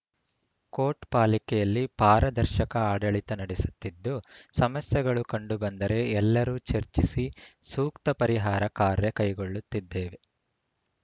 coat ಪಾಲಿಕೆಯಲ್ಲಿ ಪಾರದರ್ಶಕ ಆಡಳಿತ ನಡೆಸುತ್ತಿದ್ದು ಸಮಸ್ಯೆಗಳು ಕಂಡು ಬಂದರೆ ಎಲ್ಲರೂ ಚರ್ಚಿಸಿ ಸೂಕ್ತ ಪರಿಹಾರ ಕಾರ್ಯ ಕೈಗೊಳ್ಳುತ್ತಿದ್ದೇವೆ